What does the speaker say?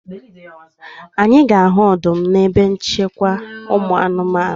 Anyị ga-ahụ ọdụm na ebe nchekwa ụmụ anụmanụ